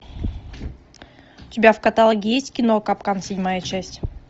у тебя в каталоге есть кино капкан седьмая часть